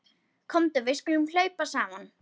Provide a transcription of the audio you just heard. Komdu við skulum hlaupa saman.